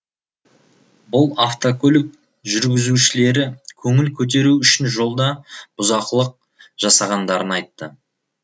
бұл автокөлік жүргізушілері көңіл көтеру үшін жолда бұзақылық жасағандарын айтты